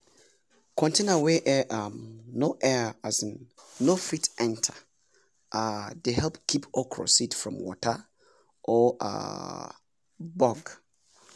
container wey air um no air um no fit enter um dey help keep okra seed from water or um bug